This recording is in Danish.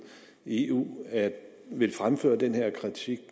i eu vil fremføre den her kritik